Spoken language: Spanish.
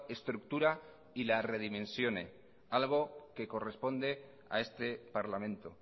estructura y la redimensione algo que corresponde a este parlamento